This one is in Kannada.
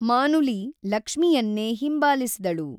ಮಾನುಲಿ ಲಕ್ಷ್ಮಿಯನ್ನೇ ಹಿಂಬಾಲಿಸಿದಳು.